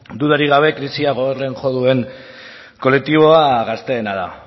dudarik gabe krisia gogorren jo duen kolektiboa gazteena da